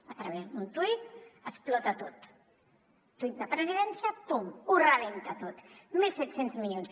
a través d’un tuit explota tot un tuit de presidència pum ho rebenta tot mil set cents milions